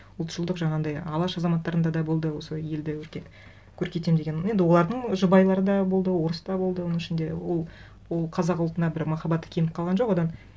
ұлтшылдық жаңағындай алаш азаматтарында да болды сол елді көркейтемін деген енді олардың жұбайлары да болды орыс та болды оның ішінде ол қазақ ұлтына бір махаббаты кеміп қалған жоқ одан